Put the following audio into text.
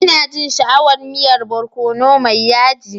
Ina jin sha'awan miyan barkono mai yaji.